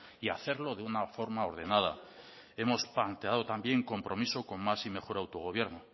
y hacerlo de una forma ordenada hemos planteado también compromiso con más y mejor autogobierno